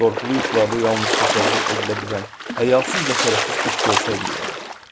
Qorxulu yuxularda yalnız təsəvvür edilə bilən həyasız və şərəfsiz iş görsəydim nə olardı?